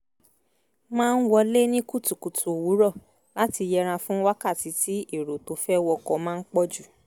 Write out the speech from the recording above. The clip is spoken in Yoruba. máa ń wọlé ní kùtùkùtù òwúrọ̀ láti yẹra fún wákàtí tí èrò tó fẹ́ wọkọ̀ máa ń pọ̀ jù